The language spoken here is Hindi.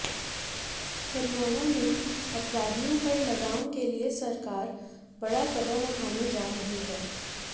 हरियाणा में अपराधियों पर लगाम के लिए सरकार बड़ा कदम उठाने जा रही है